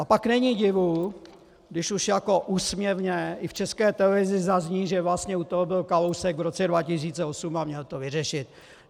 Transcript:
A pak není divu, když už jako úsměvně i v České televizi zazní, že vlastně u toho byl Kalousek v roce 2008 a měl to vyřešit.